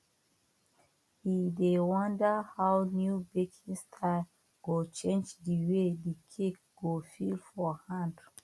e dey wonder how new baking style go change the way the cake go feel for hand